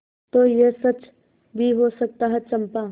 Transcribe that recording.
तो यह सच भी हो सकता है चंपा